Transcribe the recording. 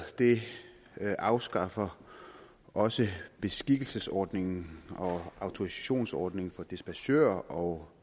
afskaffer også beskikkelsesordningen og autorisationsordningen for dispachører og